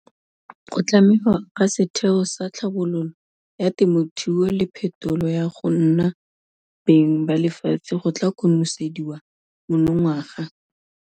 Go tlhamiwa ga Setheo sa Tlhabololo ya Temothuo le Phetolo ya go nna Beng ba Lefatshe go tla konosediwa monongwaga.